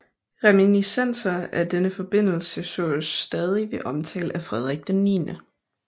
Reminiscenser af denne forbindelse sås stadig ved omtale af Frederik 9